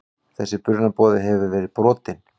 Þessi brunaboði hefur verið brotinn.